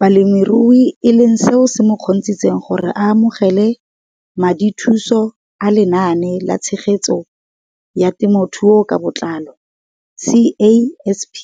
Balemirui e leng seo se mo kgontshitseng gore a amogele madithuso a Lenaane la Tshegetso ya Te mothuo ka Botlalo CASP